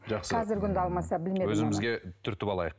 жақсы қазіргі күнде алмаса білмедім өзімізге түртіп алайық